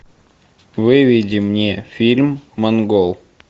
выведи мне фильм монгол